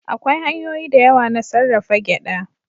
Akwai hanyoyi da yawa na sarrafa gyaɗa.